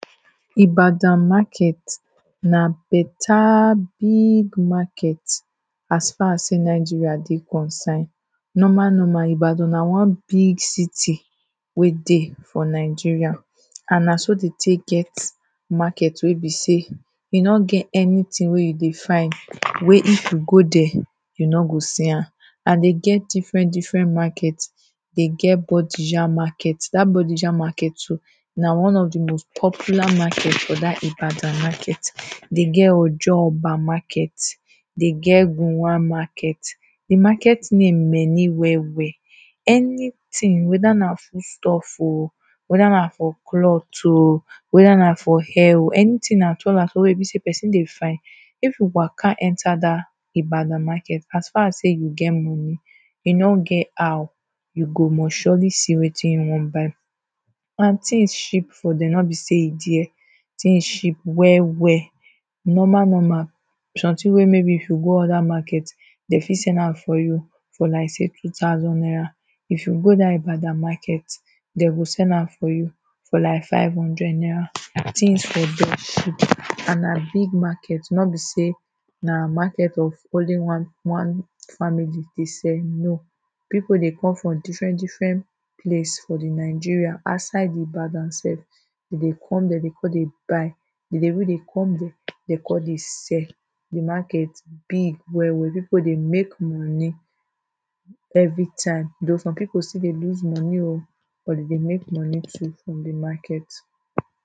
Ibadan market na better big market as far sey Nigeria dey concin. Normal normal Ibadan na one big city wey dey for Nigeria. And na so dem take get market wey be sey e no get anything wey you dey find, wey if you go dere, you no go see am. And they get different different market. They get bodija market. Dat bodija market too na one of the most popular market for dat Ibadan market. They get ojooba market. They get gowon market. The market name many well well. Anything whether na foodstuff oh, whether na for cloth oh, whether na for hair o. Anything at all at all wey e be sey person dey find. If you waka enter dat Ibadan market, as far as sey you get money, e no get how, you go must surely see wetin you wan buy. And things cheap for dem. No be sey e dare. Things cheap well well. Normal normal something wey maybe if you go another market, dem fit sell am for you for like sey two thousand naira. If you go dat market, dem go sell am for you for like five hundred naira. Things for dere cheap and na big market. No be sey na market of only one one family dey sell, No. People dey come from different different place for the Nigeria, outside the Ibadan self. Dem dey come dere dey con dey buy. Dem dey even dey come dere dey con they sell. The market big well well. People dey make money everytime. Though some people still dey lose money oh but dem dey make money too from the market.